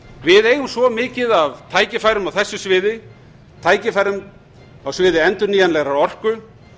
við eigum svo mikið af tækifærum á þessu sviði tækifærum á sviði endurnýjanlegrar orku